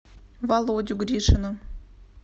володю гришина